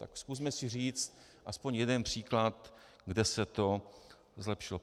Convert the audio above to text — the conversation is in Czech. Tak zkusme si říct aspoň jeden příklad, kde se to zlepšilo.